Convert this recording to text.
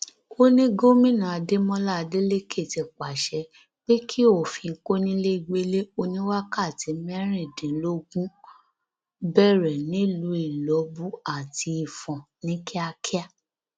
ó ní gómìnà adémọlá adeleke ti pàṣẹ pé kí òfin kónílégbélé oníwákàtí mẹrìndínlógún bẹrẹ nílùú ilọbù àti ifon ní kíákíá